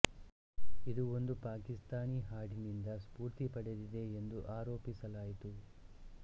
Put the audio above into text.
ಇದು ಒಂದು ಪಾಕಿಸ್ತಾನಿ ಹಾಡಿನಿಂದ ಸ್ಫೂರ್ತಿ ಪಡೆದಿದೆ ಎಂದು ಆರೋಪಿಸಲಾಯಿತು